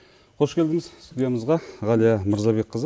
қош келдіңіз студиямызға ғалия мырзабекқызы